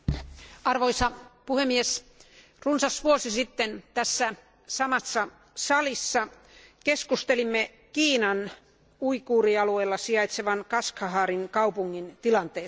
Arvoisa puhemies, runsas vuosi sitten tässä samassa salissa keskustelimme Kiinan uiguurialueella sijaitsevan Kashgarin kaupungin tilanteesta.